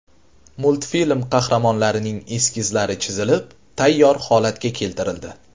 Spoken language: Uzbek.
Multfilm qahramonlarining eskizlari chizilib, tayyor holatga keltirildi.